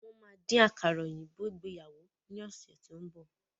Wọ́n má dín àkàrà òyìnbó ìgbéyàwó ni ọ̀sẹ̀ tín bọ̀.